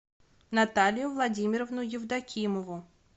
наталью владимировну евдокимову